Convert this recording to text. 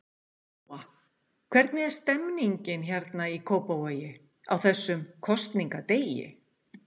Lóa: Hvernig er stemmningin hérna í Kópavogi, á þessum kosningadegi?